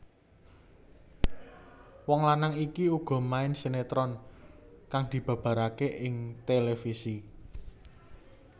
Wong lanang iki uga main sinetron kang dibabaraké ing televisi